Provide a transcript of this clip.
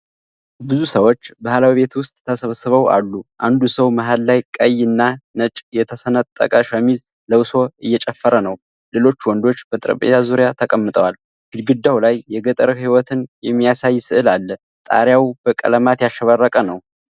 ብዙ ሰዎች ባህላዊ ቤት ውስጥ ተሰብስበው አሉ። አንዱ ሰው መሃል ላይ ቀይ እና ነጭ የተሰነጠቀ ሸሚዝ ለብሶ እየጨፈረ ነው። ሌሎች ወንዶች በጠረጴዛ ዙሪያ ተቀምጠዋል። ግድግዳው ላይ የገጠር ሕይወትን የሚያሳይ ሥዕል አለ። ጣሪያውም በቀለማት ያሸበረቀ ነው።